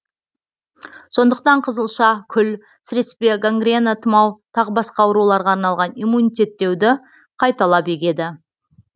сондықтан қызылша күл сіреспе гангрена тұмау тағы басқа ауруларға арналған иммунитеттеуді қайталап егеді